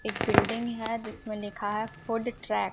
एक बिल्डिंग है जिस में लिखा है फूड ट्रैक ।